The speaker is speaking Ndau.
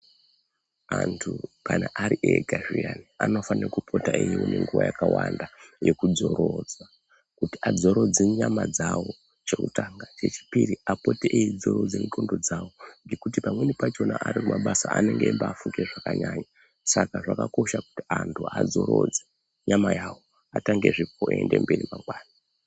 Antu kana ari ega zviyani anofane kupota eiwone nguwa yakawanda yekudzorora. Kuti adzorodze nyama dzawo chekutanga, chechipiri apote eidzorodze ndxondo dzawo ngekuti pamweni pachona ari kumabasa anenge eibaafunge zvakanyanya. Saka zvakakosha kuti antu adzorodze nyama yawo, atangezve kuende mberi mangwani.